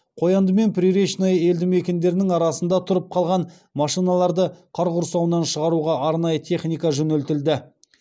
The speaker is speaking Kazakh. қоянды мен приречное елді мекендерінің арасында тұрып қалған машиналарды қар құрсауынан шығаруға арнайы техника жөнелтілді